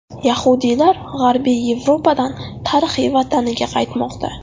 Yahudiylar G‘arbiy Yevropadan tarixiy vataniga qaytmoqda.